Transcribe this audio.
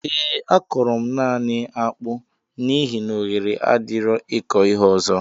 Ee a kọro mụ naanị akpụ n'ihi na oghere adirọ ịkọ ihe ọzọ